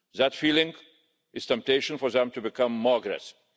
That feeling is a temptation for them to become more aggressive.